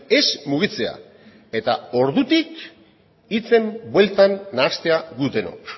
ez mugitzea eta ordutik hitzen bueltan nahastea gu denok